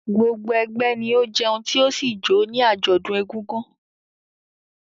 Gbogbo ẹgbẹ́ ni ó jẹun tí ó sì jó ní àjọ̀dún Egúngún.